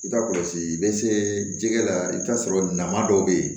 I ka kɔlɔsi bɛ se jɛgɛ la i bɛ t'a sɔrɔ na dɔw bɛ yen